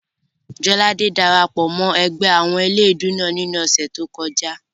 Jọládé dara pọ̀ mọ́ ẹgbẹ́ àwọn eléèdúú náà ní ọ̀sẹ̀ tó kọjá